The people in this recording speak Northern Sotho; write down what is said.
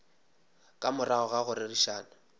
ka morago ga go rerišana